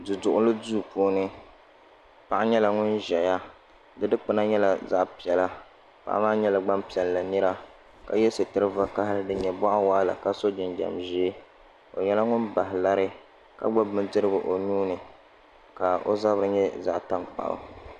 Du duɣuli duu puuni paɣa nyɛla ŋun ʒɛya di dikpuna nyɛla zaɣ piɛla paɣa maa nyɛla Gbanpiɛlli nira ka yɛ sitiri vakaɣali din nyɛ boɣa waɣala ka so jinjɛm ʒiɛ o nyɛla ŋun bahi lari ka gbubi bindirigu o nuuni ka o zabiri nyɛ zaɣ tankpaɣu